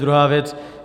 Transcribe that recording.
Druhá věc.